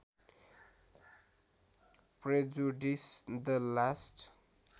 prejudice the last